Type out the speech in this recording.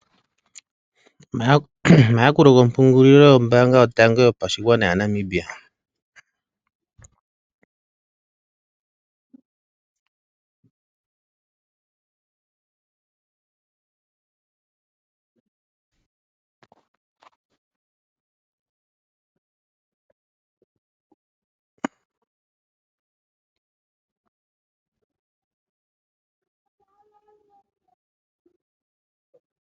Omayakulo gompungulilo yombaanga yotango yopashigwana yaNamibia.